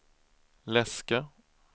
läska